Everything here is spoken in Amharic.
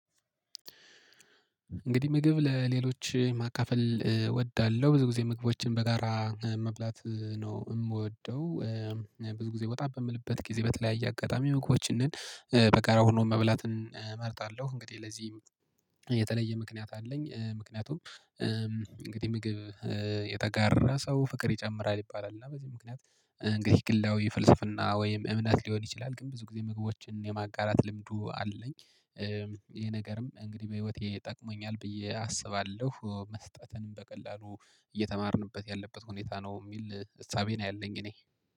እንግዲህ ምግብ ለሌሎች ማካፈል እወዳለሁ ብዙ ጊዜ ምግቦችን በጋራ መብላት ነው እምወደው። ብዙ ጊዜ ወጣ በምልበት ጊዜ በተለያየ አጋጣሚ መግቦችንን በጋራ ሆኖ መብላት እመርጣለሁ። እንግዲህ ለዚህ የተለየ ምክንያት አለኝ። ምክንያቱም እንግዲህ ምግብ የተጋራ ሰው ፍቅር ይጨምራል ይባላል እና በዚህ ምክንያት እንግዲህ ግላዊ ፍልስፍና ወይም እምነት ሊሆን ይችላል ግን ብዙ ጊዜ ምግቦችን የማጋራት ልምዱ አለኝ። ይሄ ነገርም እንግዲህ በህይወቴ ጠቅሞኛል ብዬ አስባለሁ። መስጠትንም በቀላሉ እየተማርኩበት ያለበት ሁኔታ ነው የሚል እሳቤ ነው ያለኝ እኔ